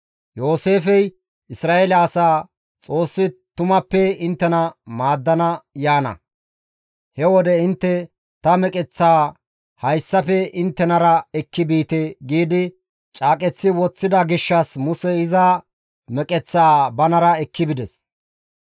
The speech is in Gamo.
Yooseefey Isra7eele asaa, «Xoossi tumappe inttena maaddana yaana; he wode intte ta meqeththaa hayssafe inttenara ekki biite» giidi caaqeththi woththida gishshas Musey iza meqeththaa banara ekki bides.